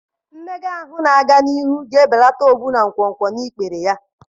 Mmega ahụ na-aga n'ihu ga-ebelata ọrịa ogbu na nkwonkwo na ikpere ya